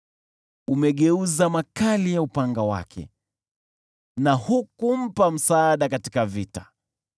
Umegeuza makali ya upanga wake, na hukumpa msaada katika vita.